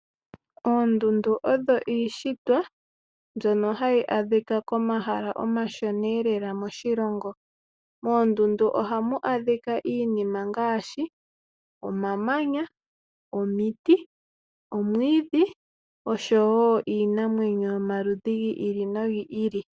Oondundu odho iishitwa mbyono hayi adhikwa komahala omashona elela moshilongo . Moondundu ohamu adhika iinima ngaashi omamanya, omiti , omwiidhi oshowoo iinamwenyo yomaludhi giili nogiili.